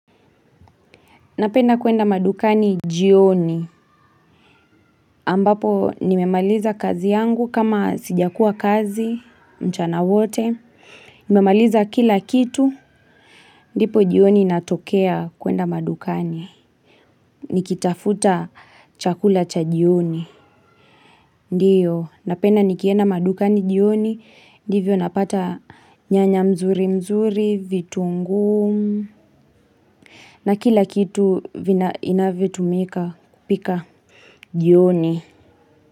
Napenda kuenda madukani jioni, ambapo nimemaliza kazi yangu kama sija kuwa kazi mchana wote, nimemaliza kila kitu, dipo jioni natokea kuenda madukani, nikitafuta chakula cha jioni. Ndiyo, napenda nikienda madukani jioni, divyo napata nyanya mzuri mzuri, vitu nguu, na kila kitu inavyotumika pika jioni.